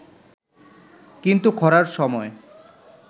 কিন্তু খরার সময়ে